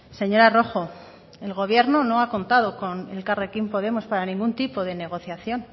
señora rojo el gobierno no ha contado con elkarrekin podemos para ningún tipo de negociación